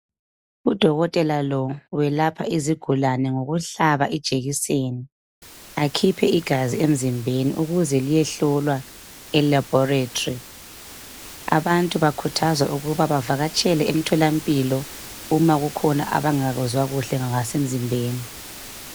Udokotela lo welapha izigulane ngokuhlaba ijekiseni akhiphe igazi emzimbeni ukuze liyehlolwa elaboratory. Abantu bakhuthazwa ukuba bavakatshele emtholampilo uma kukhona abangakuzwa kuhle ngakasemzimbeni.